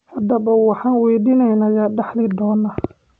Haddaba waxaan weydiineynaa yaa dhaxli doona?